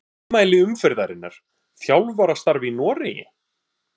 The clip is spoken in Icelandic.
Ummæli umferðarinnar: Þjálfarastarf í Noregi?